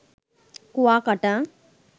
Kuakata